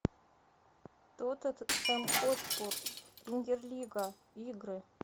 тоттенхэм хотспур премьер лига игры